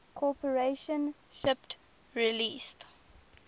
corporation shipped release